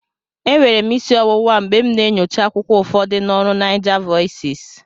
Enwere m isi ọwụwa mgbe m na-enyocha akwụkwọ ụfọdụ na ọrụ NaijaVoices